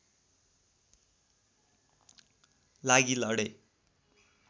लागि लडे